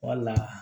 Wala